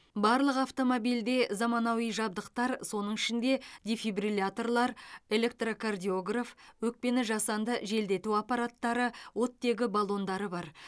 барлық автомобильде заманауи жабдықтар соның ішінде дефибрилляторлар электрокардиограф өкпені жасанды желдету аппараттары оттегі баллондары бар